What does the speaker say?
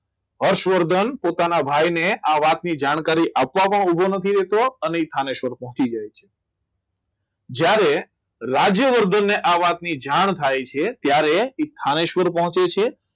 હર્ષવર્ધન પોતાના ભાઈને આ વાતની જાણકારી આપવામાં ઊભો નથી રહેતો અને થાનેશ્વર પહોંચી જાય છે જ્યારે રાજ્યવર્ધનને આ વાતની જાણ થાય છે ત્યારે એ સ્થાનેશ્વર પહોંચે છે